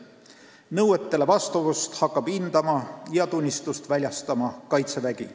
Nõuetele vastavust hakkab hindama ja tunnistusi väljastama Kaitsevägi.